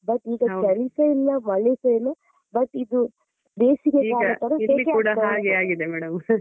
But ಈಗ ಚಳಿಸಾ ಇಲ್ಲ ಮಳೆ ಸಾ ಇಲ್ಲ but ಇದು ಬೇಸಿಗೆಕಾಲ ತರ ಸೆಕೆ ಆಗ್ತಾ ಇದೆ.